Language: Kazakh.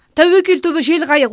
тәуекел түбі жел қайық